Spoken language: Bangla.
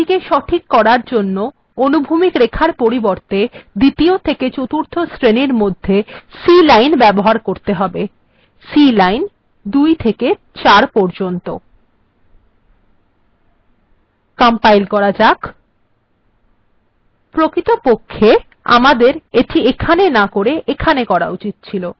এটিকে সঠিক করার জন্য অনুভূমিক রেখার পরিবর্তে দ্বিতীয় থেকে চতুর্থ শ্রেনীর মধ্যে c line ব্যবহার করতে হবে cline ২ থেকে ৪ পর্যন্ত আমার এটি ekhane করা উচিত ছিল